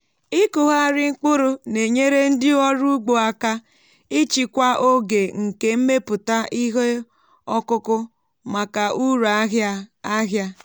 ịkụgharị mkpuru na-enyere ndị ọrụ ugbo aka ịchịkwa oge nke mmepụta ihe ọkụkụ maka uru ahịa ahịa.